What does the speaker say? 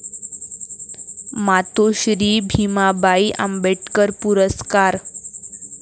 मातोश्री भीमाबाई आंबेडकर पुरस्कार